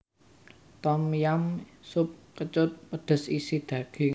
Tom yam sup kecut pedhes isi daging